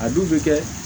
A dun bɛ kɛ